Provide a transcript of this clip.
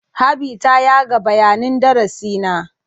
Habi ta yaga bayanin darasi na.